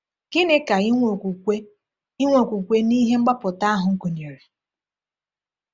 Gịnị ka inwe okwukwe inwe okwukwe n'ihe mgbapụta ahụ gụnyere?